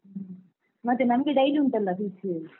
ಮತ್ತೆ ನಮ್ಗೆ daily ಉಂಟಲ್ಲ fish .